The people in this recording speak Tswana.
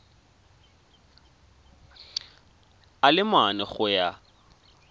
a le mane go ya